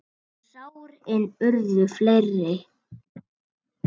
En sárin urðu fleiri.